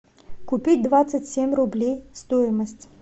купить двадцать семь рублей стоимость